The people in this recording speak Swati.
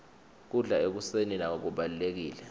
kudla ekuseni nako kubalulekile